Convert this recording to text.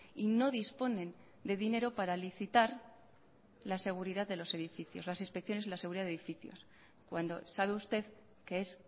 y no disponen de dinero para licitar la seguridad de los edificios las inspecciones de la seguridad de edificios cuando sabe usted que es